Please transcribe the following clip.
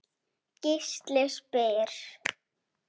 Gísli spyr